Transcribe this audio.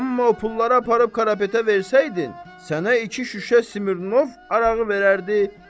Amma o pulları aparıb Karapetə versəydin, sənə iki şüşə Smirnov arağı verərdi.